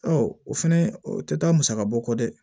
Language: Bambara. o fɛnɛ o tɛ taa musakabɔ kɔ dɛ